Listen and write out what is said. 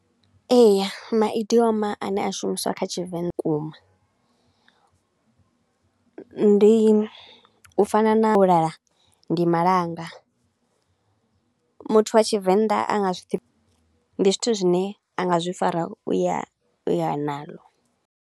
Ee, maidioma a ne a shumiswa kha Tshivenḓa vhukuma, ndi, u fana na wo lala ndi malanga. Muthu wa Tshivenḓa a nga zwi ndi zwithu zwi ne a nga zwi fara u ya u ya nalo.